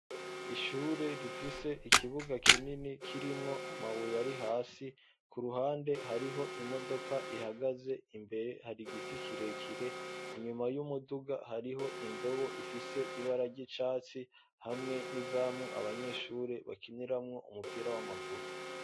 Ishure, rifise ikibuga kinini, kirimwo amabuye, ari hasi; ku ruhande, hariho imodoka ihagaze; imbere, hari igiti kirekire; inyuma y'umuduga, hariho indobo, ifise ibara ry'icatsi, hamwe n'izamu, abanyeshure bakiniramwo, umupira w'amaguru.